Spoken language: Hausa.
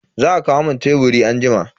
Za a kawo mun teburi na anjima.